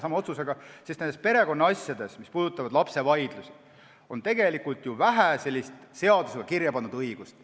Näiteks on perekonnasjades, mis puudutavad lapsevaidlusi, tegelikult ju vähe sellist seadusega kirjapandud õigust.